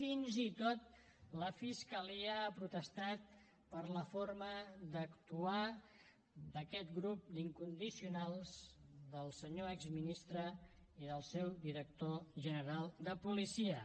fins i tot la fiscalia ha protestat per la forma d’actuar d’aquest grup d’incondicionals del senyor exministre i del seu director general de policia